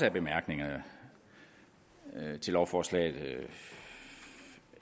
af bemærkningerne til lovforslaget